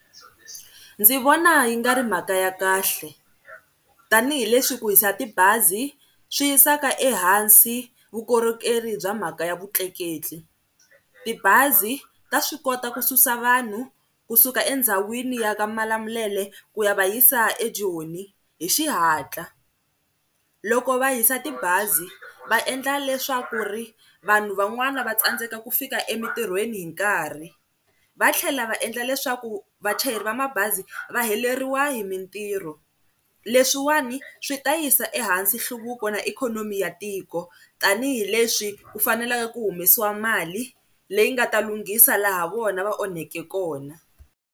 Ndzi vona yi nga ri mhaka ya kahle, tanihileswi ku hisa tibazi swi yisaka ehansi vukorhokeri bya mhaka ya vutleketli. Tibazi ta swi kota ku susa vanhu kusuka endhawini ya ka Malamulele ku ya va yisa eJoni hi xihatla. Loko va hisa tibazi va endla leswaku ri vanhu van'wana va tsandzeka ku fika emintirhweni hi nkarhi. Va tlhela va endla leswaku vachayeri va mabazi va heleriwa hi mintirho, leswiwani swi ta yisa ehansi nhluvuko na ikhonomi ya tiko tanihileswi ku faneleke ku humesiwa mali leyi nga ta lunghisa laha vona va onheke kona.